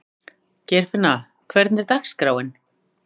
Geirfinna, hvernig er dagskráin?